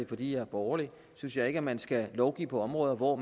fordi jeg er borgerlig synes jeg ikke man skal lovgive på områder hvor